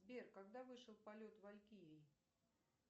сбер когда вышел полет валькирии